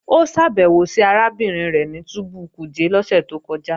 Ó ṣàbẹ̀wò sí arábìnrin rẹ̀ ní túbú Kuje lọ́sẹ̀ tó kọjá